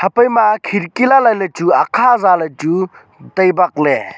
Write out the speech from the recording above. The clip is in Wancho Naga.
apai ma khidki lai lai ley chu akha ja ley chu tai bak ley.